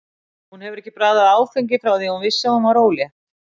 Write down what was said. Hún hefur ekki bragðað áfengi frá því að hún vissi að hún var ólétt.